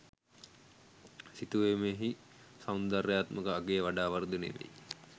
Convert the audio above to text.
සිතුවමෙහි සෞන්දර්යාත්මක අගය වඩා වර්ධනය වෙයි.